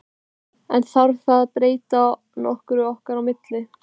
En þarf það að breyta nokkru okkar á milli?